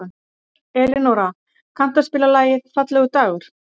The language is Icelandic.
Elinóra, kanntu að spila lagið „Fallegur dagur“?